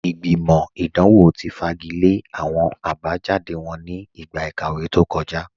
Ìgbìmọ̀ idanwọ̀ ti fagilẹ̀ awọn abajáde wọn ní igba ikàwé tó kọ̀já